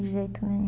De jeito nenhum.